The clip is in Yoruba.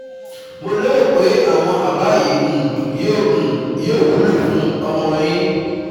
Mo lérò pé àwọn àbá yìí um yóò um yóò wúlò fún ọmọ yín